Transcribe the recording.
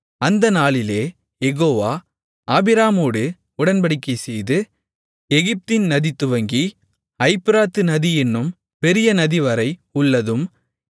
அந்த நாளிலே யெகோவா ஆபிராமோடு உடன்படிக்கைசெய்து எகிப்தின் நதிதுவங்கி ஐப்பிராத்து நதி என்னும் பெரிய நதிவரை உள்ளதும்